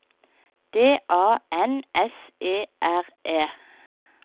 D A N S E R E